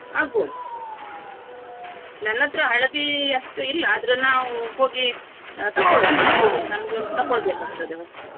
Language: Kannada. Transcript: ಆಗಬೋದು ನನ್ನ ಹತ್ರ ಹಳದಿ ಅಷ್ಟು ಇಲ್ಲ ಆದ್ರೂ ನಾವು ಹೋಗಿ ತಕೊಳ್ವನ ನನ್ಗೆ ಒಂದು ತೆಕೊಳ್ಬೇಕಾಗ್ತದೆ ಹೊಸ್ತು.